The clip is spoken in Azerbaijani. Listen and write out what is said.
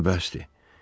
Daha bəsdir.